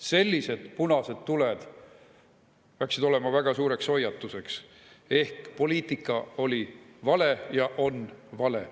Sellised punased tuled peaksid olema väga suureks hoiatuseks, et meie poliitika oli vale ja on vale.